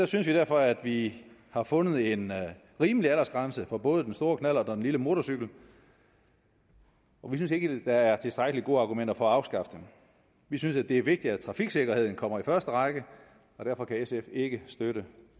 synes vi derfor at vi har fundet en rimelig aldersgrænse for både den store knallert og lille motorcykel og vi synes ikke der er tilstrækkelig gode argumenter for at afskaffe den vi synes at det er vigtigt at trafiksikkerheden kommer i første række og derfor kan sf ikke støtte